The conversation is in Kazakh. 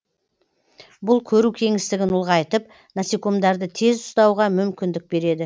бұл көру кеңістігін ұлғайтып насекомдарды тез ұстауға мүмкіндік береді